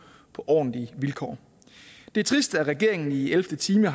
på ordentlige vilkår det er trist at regeringen i ellevte time